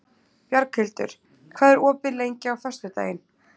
Bjarghildur, hvað er opið lengi á föstudaginn?